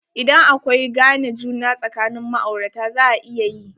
Idan akwai gane juna sakanin ma'aurata, za a iya yi.